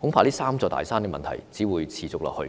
恐怕這"三座大山"的問題只會持續下去。